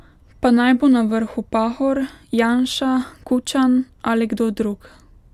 Pa naj bo na vrhu pahor, janša, kučan ali kdo drug.